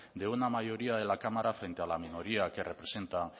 de una mayoría de la cámara frente a la minoría que representa